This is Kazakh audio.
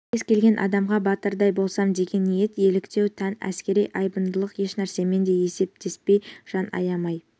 кез келген адамға батырдай болсам деген ниет еліктеу тән әскери айбындылық ешнәрсемен де есептеспей жан аямай